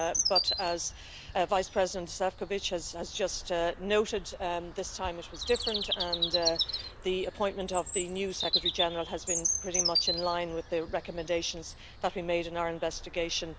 But as Vice President Šefčovič has just noted, this time it was different, and the appointment of the new Secretary General has been pretty much in line with the recommendations that we made in our investigation.